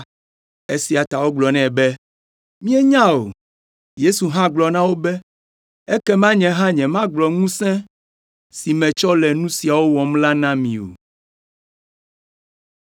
Esia ta wogblɔ nɛ be, “Míenya o.” Yesu hã gblɔ na wo be, “Ekema nye hã nyemagblɔ ŋusẽ si metsɔ le nu siawo wɔm la na mi o.”